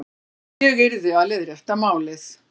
Ég yrði að leiðrétta málið.